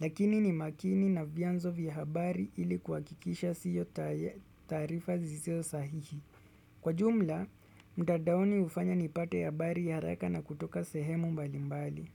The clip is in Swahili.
lakini ni makini na vianzo vya habari ili kuhakikisha siyo tsys taarifa zisizo sahihi. Kwa jumla, mtandaoni hufanya nipate habari ya haraka na kutoka sehemu mbali mbali.